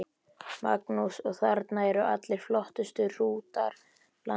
Magnús: Og þarna eru allir flottustu hrútar landsins?